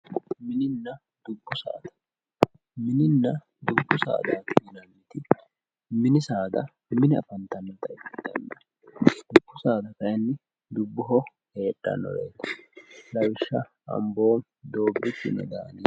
Mininna dubbu saada, mininna dubbu saada ,mini saada mine afantanotta ikkittanna dubbu saada kayinni dubboho heedhanoreti lawishsha Amboomi Doobichu